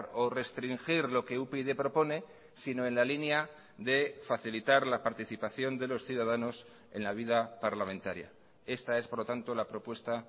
o restringir lo que upyd propone sino en la línea de facilitar la participación de los ciudadanos en la vida parlamentaria esta es por lo tanto la propuesta